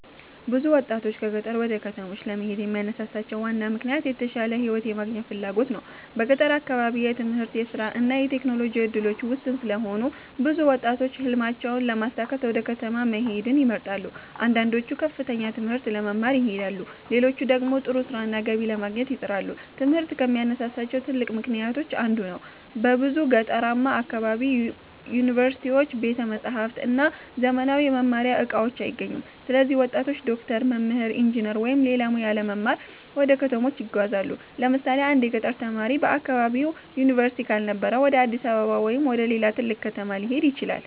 ብዙ ወጣቶች ከገጠር ወደ ከተሞች ለመሄድ የሚያነሳሳቸው ዋና ምክንያት የተሻለ ሕይወት የማግኘት ፍላጎት ነው። በገጠር አካባቢ የትምህርት፣ የሥራ እና የቴክኖሎጂ እድሎች ውስን ስለሆኑ ብዙ ወጣቶች ሕልማቸውን ለማሳካት ወደ ከተማ መሄድን ይመርጣሉ። አንዳንዶቹ ከፍተኛ ትምህርት ለመማር ይሄዳሉ፣ ሌሎች ደግሞ ጥሩ ሥራና ገቢ ለማግኘት ይጥራሉ። ትምህርት ከሚያነሳሳቸው ትልቅ ምክንያቶች አንዱ ነው። በብዙ ገጠራማ አካባቢዎች ዩኒቨርሲቲዎች፣ ቤተ መጻሕፍት እና ዘመናዊ የመማሪያ እቃዎች አይገኙም። ስለዚህ ወጣቶች ዶክተር፣ መምህር፣ ኢንጂነር ወይም ሌላ ሙያ ለመማር ወደ ከተሞች ይጓዛሉ። ለምሳሌ አንድ የገጠር ተማሪ በአካባቢው ዩኒቨርሲቲ ካልነበረ ወደ አዲስ አበባ ወይም ወደ ሌላ ትልቅ ከተማ ሊሄድ ይችላል።